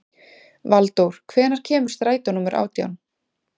Valdór, hvenær kemur strætó númer átján?